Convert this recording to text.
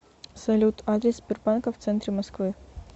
салют адрес сбербанка в центре москвы